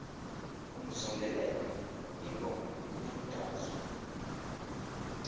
umzondelelo ingoma yemdazwe